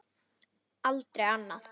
Aldrei annað.